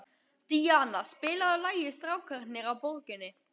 Díanna, spilaðu lagið „Strákarnir á Borginni“.